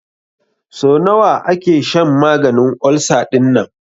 So nawa ake shan maganin ulcer dinnan?